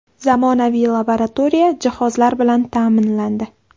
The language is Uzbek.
Zamonaviy laboratoriya jihozlari bilan ta’minlandi.